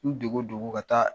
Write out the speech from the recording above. N dogo dogo ka taa